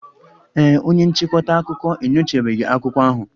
Ee e, onye nchịkọta akụkọ enyochabeghị akwụkwọ ahụ